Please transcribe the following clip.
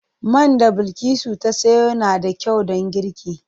Man da Bilkisu ta sayo na da kyau don girki.